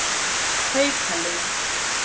Haukalind